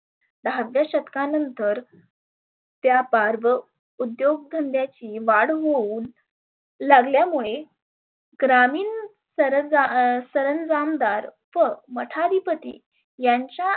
दहाव्या शतकानंतर त्या बारबव उद्योग धंद्याची वाढ होऊन लागल्या मुळे ग्रामीन सरजा सरंजामदार व मठाधी पती यांच्या